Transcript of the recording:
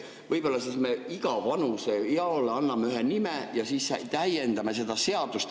Võib-olla me igale vanusele anname ühe nime ja täiendame seda seadust.